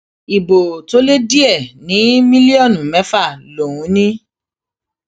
ibo tó lé díẹ ní mílíọnù mẹfà lòún ní